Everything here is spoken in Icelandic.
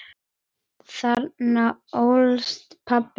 Þarna ólst pabbi upp.